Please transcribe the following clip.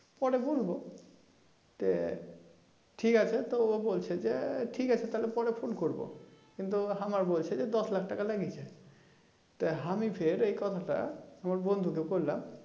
পরে বলবো তো ঠিক আছে তো বলছে যে ঠিক আছে পরে ফোন করবো কিন্তু হামার বলছে যে দশ লাখ টাকা লেগেছে আমি ফের এই কথা তা বন্ধুকে বললাম